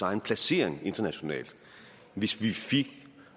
egen placering internationalt hvis vi fik